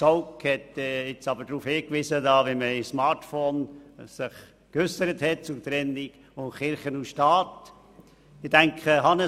Zaugg hat nun aber angesprochen, wie man sich bei Smartvote zur Trennung von Kirche und Staat geäussert habe.